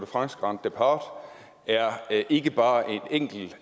france grand départ er ikke bare en enkelt